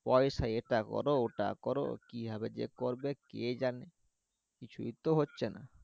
পয়সায় এটা করো ওটা করো কি ভাবে যে করযে কে জানে কিছুই তো হচ্ছে না